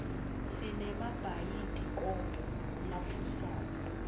sinemabhayidikobho latfusako